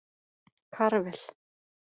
Karvel